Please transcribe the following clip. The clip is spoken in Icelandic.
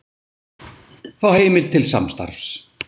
Fá heimild til samstarfs